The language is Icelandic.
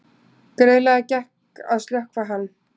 Greiðlega gekk að slökkva hann